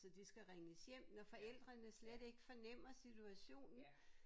Så de skal ringes hjem når forældrene slet ikke fornemmer situationen